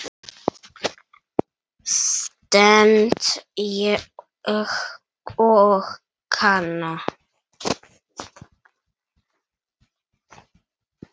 stend ég og kanna.